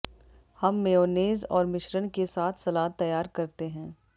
हम मेयोनेज़ और मिश्रण के साथ सलाद तैयार करते हैं